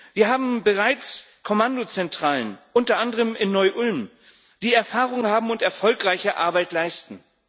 Wir haben bereits Kommandozentralen, unter anderem in Neu Ulm, die Erfahrung haben und erfolgreiche Arbeit leisten.